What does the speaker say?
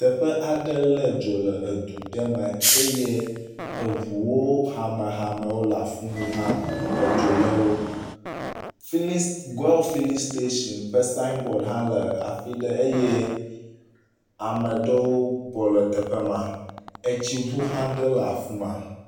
Teƒe aɖe le dzo le du ɖe me eye eʋuwo hamehamewo le afimi hã edzo le wo. Fili goil filling station ƒe sign board hã le afiɖe eye ameɖewo bɔ le teƒe ma, etsiʋu hã ɖe le afima.